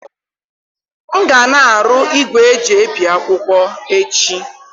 M ga na-arụ igwe eji ebi akwụkwọ echi.